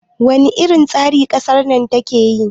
wane irin tsari kasar na take yi?